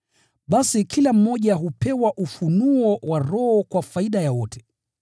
Basi kila mmoja hupewa ufunuo wa Roho kwa faida ya wote.